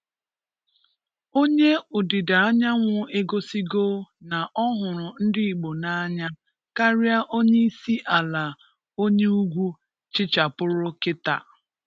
Onye Ụ̀dịda Anyanwú egosígo na ọ hụrụ Ndị Igbo n’anya kárịá Onye Isi Ǎla onye Ugwu chịchàpùrù kítà.